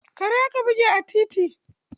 Kare aka buge a kan titi.